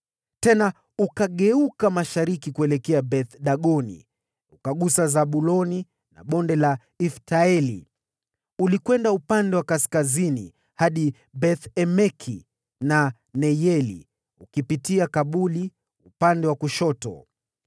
Tena ukageuka mashariki kuelekea Beth-Dagoni, ukagusa Zabuloni na Bonde la Ifta-Eli, ukaenda upande wa kaskazini hadi Beth-Emeki na Neyeli, ukipitia Kabul upande wa kushoto.